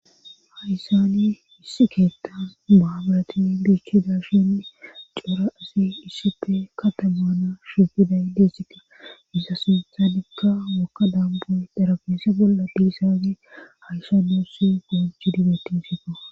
Haysani issi keetta maabaratin biikkida shinni coora asi iisipe katamaana shugida idesika isa sintha dikka wokka damboy darabeese bolla diisaagi haysanyossi gujjhi dibetinsifa.